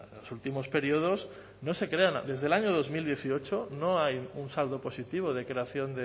los últimos periodos no se crean desde el año dos mil dieciocho no hay un saldo positivo de creación